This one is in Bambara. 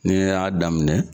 Ne y'a daminɛ